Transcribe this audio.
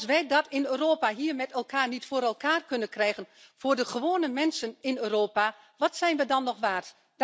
Maar als wij dat in Europa hier met elkaar niet voor elkaar kunnen krijgen voor de gewone mensen in Europa wat zijn we dan nog waard?